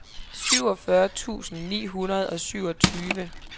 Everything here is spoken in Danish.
syvogfyrre tusind ni hundrede og syvogtyve